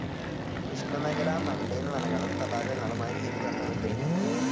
ഉഷ്ണമേഖലാ മൺടെയ്ൻ വനങ്ങളും തടാകങ്ങളും ആയി ഇത് ബന്ധപ്പെട്ടിരിക്കുന്നു.